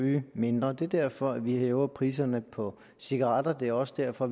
ryge mindre det er derfor vi hæver priserne på cigaretter det er også derfor